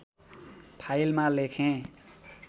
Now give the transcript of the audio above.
फाइलमा लेखेँ